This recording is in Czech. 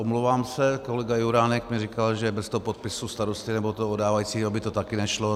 Omlouvám se, kolega Juránek mi říkal, že bez toho podpisu starosty nebo toho oddávajícího by to také nešlo.